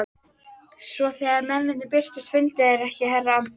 Svo þegar mennirnir birtust fundu þeir ekki herra Anders